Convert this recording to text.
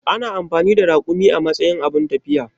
Ana amfani da rakumi a matsayin abun tafiya.